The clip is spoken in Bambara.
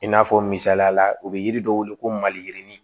I n'a fɔ misaliya la u bɛ yiri dɔ wele ko maliyirinin